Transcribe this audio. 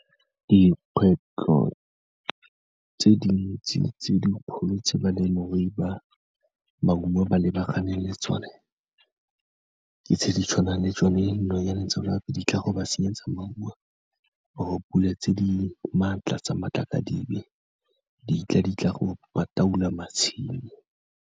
Dikgwetlho tse dintsi tse dikgolo tse balemirui ba maungo ba lebaganeng le tsone, ke tse di tshwanang le tsone dinonyane tseo gape di tla go ba senyetsa maungo or-e pule tse di maatla tsa matlakadibe, ditla di tla go matshelo.